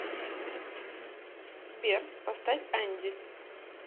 сбер поставь анди